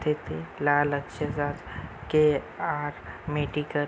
तेथे लाल अक्षरात के.आर. मेडिकल --